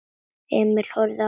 Emil horfði á hann.